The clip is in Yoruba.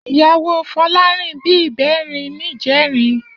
Iyáwó Folarin bi ibèrín nijèrin